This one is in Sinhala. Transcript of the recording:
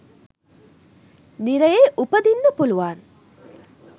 නිරයේ උපදින්න පුළුවන්.